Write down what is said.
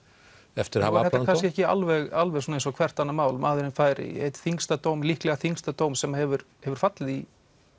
eftir að hafa er þetta kannski ekki alveg alveg svona eins og hvert annað mál maðurinn fær einn þyngsta dóm líklega þyngsta dóm sem hefur hefur fallið í